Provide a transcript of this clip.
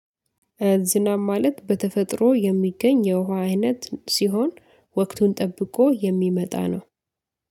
ዝናብ ማለት በተፈጥሮ የሚገኝ የውሃ አይነት ሲሆን ወቅቱን ጠብቆ የሚመጣ ነው